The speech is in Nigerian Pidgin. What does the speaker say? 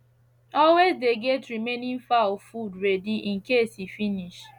always dey get remaining fowl food ready in case e finsh